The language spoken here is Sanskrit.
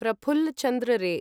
प्रफुल्ल चन्द्र रे